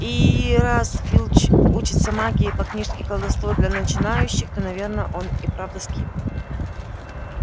и раз филч учится магии по книжке колдовство для начинающих то наверное он и правда сквиб